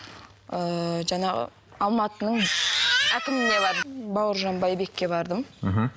ыыы жаңағы алматының әкіміне бардым бауыржан байбекке бардым мхм